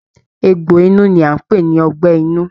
Egbò inú ní a n pé ní ọgbẹ inú.